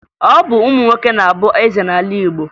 Ọ bụ ụmụ nwoke na-abụ eze n'ala Igbo